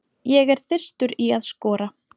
Ég er þyrstur í að skora.